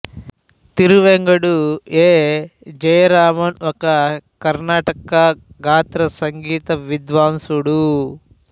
Thiruvengadu A Jayaraman ఒక కర్ణాటక గాత్ర సంగీత విద్వాంసుడు